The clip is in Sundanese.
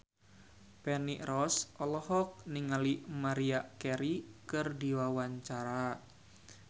Feni Rose olohok ningali Maria Carey keur diwawancara